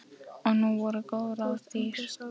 Og nú voru góð ráð dýr.